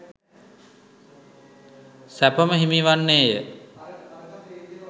සැප ම හිමි වන්නේ ය.